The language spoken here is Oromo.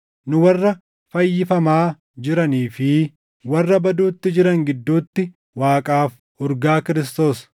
Nu warra fayyifamaa jiranii fi warra baduutti jiran gidduutti Waaqaaf urgaa Kiristoos.